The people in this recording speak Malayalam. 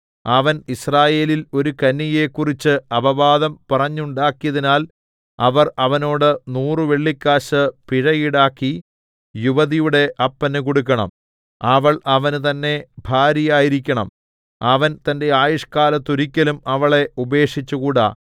അവൻ യിസ്രായേലിൽ ഒരു കന്യകയെക്കുറിച്ച് അപവാദം പറഞ്ഞുണ്ടാക്കിയതിനാൽ അവർ അവനോട് നൂറ് വെള്ളിക്കാശ് പിഴ ഈടാക്കി യുവതിയുടെ അപ്പന് കൊടുക്കണം അവൾ അവന് തന്നേ ഭാര്യയായിരിക്കണം അവൻ തന്റെ ആയുഷ്കാലത്തൊരിക്കലും അവളെ ഉപേക്ഷിച്ചുകൂടാ